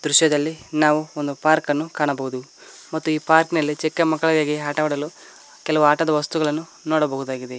ದೃಶ್ಯದಲ್ಲಿ ನಾವು ಒಂದು ಪಾರ್ಕನ್ನು ಕಾಣಬಹುದು ಮತ್ತು ಈ ಪಾರ್ಕ್ ನಲ್ಲಿ ಚಿಕ್ಕ ಮಕ್ಕಳಿಗಾಗಿ ಆಟವಾಡಲು ಕೆಲವು ವಸ್ತುಗಳನ್ನು ನೋಡಬಹುದಾಗಿದೆ.